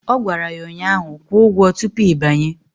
Ọ gwara ya ụnyaahụ "Kwụọ ụgwọ tupu ị banye"!